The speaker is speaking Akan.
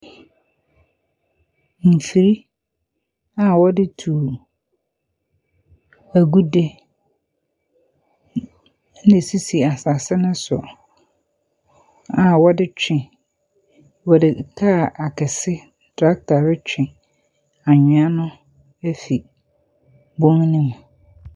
Mfiri a wɔde tu agude na ɛsisi asase no so, a wɔde twe wɔde kaa akɛse, tractor retwe anwea no afi bɔn no mu.